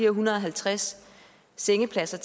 en hundrede og halvtreds sengepladser